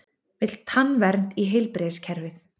Vill tannvernd í heilbrigðiskerfið